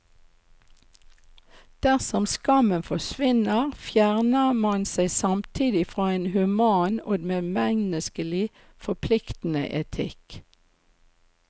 Dersom skammen forsvinner, fjerner man seg samtidig fra en human og medmenneskelig forpliktende etikk.